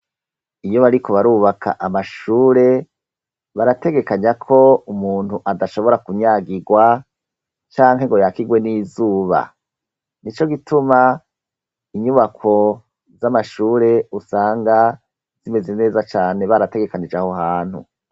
Iyo bariko barubaka amashure barategekanya ko umuntu adashobora kunyagirwa canke ngo yakirwe n'izuba ni co gituma inyubako z'amashure usanga zimeze neza cane barategekanije aho hantu.